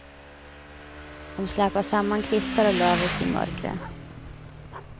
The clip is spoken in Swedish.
De släpade samman kvistar och löv ute i mörkret.